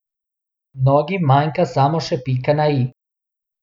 Mnogim manjka samo še pika na i.